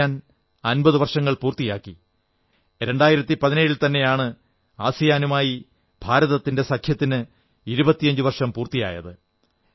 ASEAN 50 വർഷങ്ങൾ പൂർത്തിയാക്കി 2017 ൽത്തന്നെയാണ് ആസിയാനുമായി ഭാരതത്തിന്റെ സഖ്യത്തിന് 25 വർഷം പൂർത്തിയായത്